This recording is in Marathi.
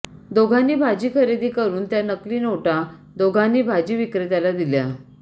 दोघांनी भाजी खरेदी करून त्या नकली नोटा दोघांनी भाजी विक्रेत्याला दिल्या